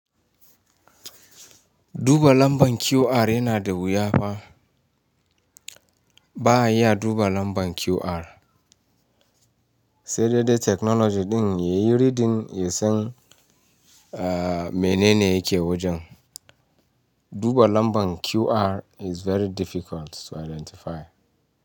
Duba lambar QR yana da wuya fa. Ba a iya duba nambar QR. Sai dai dai technology ɗin ya yi riɗin ya san, eh, mene ne yake wajen. Duba lambar QR is very difficult to identify.